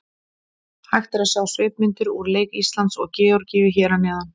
Hægt er að sjá svipmyndir úr leik Íslands og Georgíu hér að neðan.